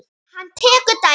Hann tekur dæmi.